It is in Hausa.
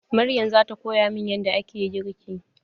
Maryam zata koya min yadda ake girki.